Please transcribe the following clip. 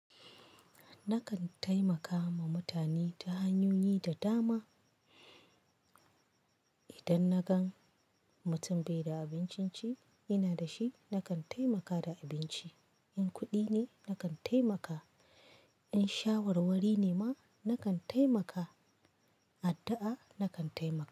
Nakan taimaka ma mutane ta hanyoyi da dama. Idan na gan mutum bai da abincin ci, ina da shi nakan taimaka da abinci. In kuɗi ne, nakan taimaka. In shawarwari ne ma, nakan taimaka. Addu'a nakan taimaka.